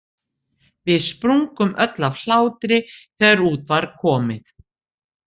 Við sprungum öll af hlátri þegar út var komið.